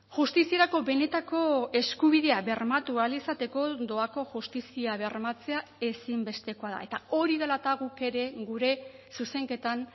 justiziarako benetako eskubidea bermatu ahal izateko doako justizia bermatzea ezinbestekoa da eta hori dela eta guk ere gure zuzenketan